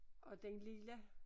Og den lille